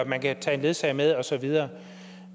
man kan tage en ledsager med og så videre